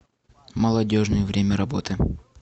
молодежный время работы